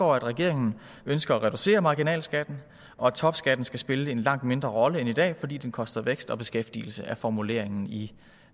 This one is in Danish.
regeringen ønsker at reducere marginalskatten og at topskatten skal spille en langt mindre rolle end i dag fordi den koster vækst og beskæftigelse det er formuleringen i